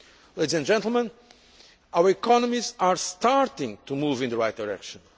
Ladies and gentlemen, our economies are starting to move in the right direction.